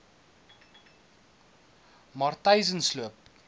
matyzensloop